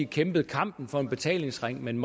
kæmpede kampen for en betalingsring men